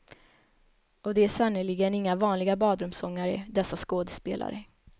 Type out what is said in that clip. Och de är sannerligen inga vanliga badrumssångare, dessa skådespelare.